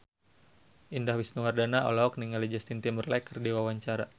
Indah Wisnuwardana olohok ningali Justin Timberlake keur diwawancara